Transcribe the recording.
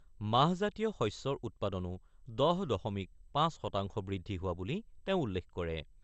মাহজাতীয় শস্যৰ উৎপাদনো ১০ দশমিক ৫ শতাংশ বৃদ্ধি হোৱা বুলি তেওঁ উল্লেখ কৰে।